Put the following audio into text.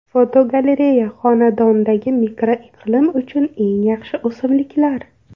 Fotogalereya: Xonadondagi mikroiqlim uchun eng yaxshi o‘simliklar.